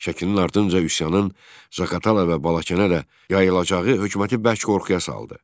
Şəkinin ardınca üsyanın Zaqatalaya və Balakənə də yayılacağı hökuməti bərk qorxuya saldı.